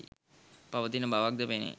පවතින බවක්ද පෙනේ